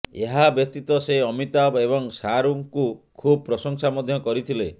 ଏହା ବାତୀତ ସେ ଅମିତାଭ ଏବଂ ଶାହରୁଖଙ୍କୁ ଖୁବ୍ ପ୍ରଶଂସା ମଧ୍ୟ କରିଥିଲେ